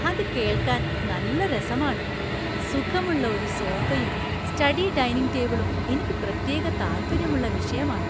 അത് കേൾക്കാൻ നല്ല രസമാണ്! സുഖമുള്ള ഒരു സോഫയും സ്റ്റഡി ഡൈനിംഗ് ടേബിളും എനിക്ക് പ്രത്യേക താൽപ്പര്യമുള്ള വിഷയമാണ്‌.